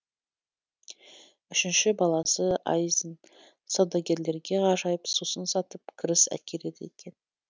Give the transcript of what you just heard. үшінші баласы айзын саудагерлерге ғажайып сусын сатып кіріс әкеледі екен